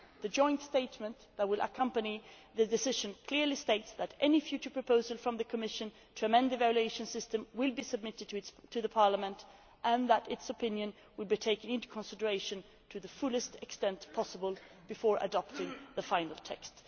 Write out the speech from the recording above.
The joint statement that will accompany the decision clearly states that any future proposal from the Commission to amend the evaluation system will be submitted to Parliament and that its opinion will be taken into consideration to the fullest extent possible before adopting the final text.